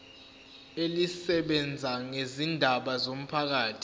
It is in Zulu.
elisebenza ngezindaba zomphakathi